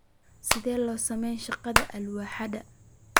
Sidee loo sameeyaa shaqada alwaaxyada?